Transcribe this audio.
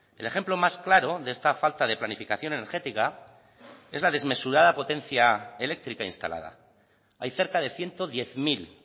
el ejemplo ciento diez mil